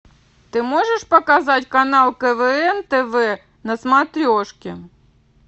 ты можешь показать канал квн тв на смотрешке